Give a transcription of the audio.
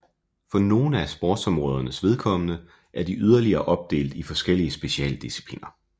For nogle af sportsområdernes vedkommende er de yderligere opdelt i forskellige specialdiscipliner